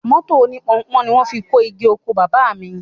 Mọ́tò oní Pọnpọ́n ni wọ́n fi kó igi oko Baba mi